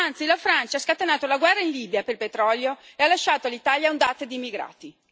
Anzi, la Francia ha scatenato la guerra in Libia per il petrolio e ha lasciato all'Italia ondate di immigrati.